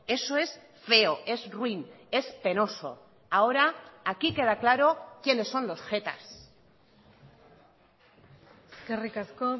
eso es feo es ruin es penoso ahora aquí queda claro quienes son los jetas eskerrik asko